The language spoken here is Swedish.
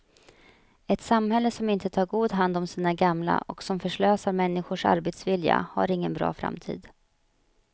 Ett samhälle som inte tar god hand om sina gamla och som förslösar människors arbetsvilja har ingen bra framtid.